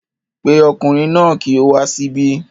Pe ọkùnrin náà ki o wá síbí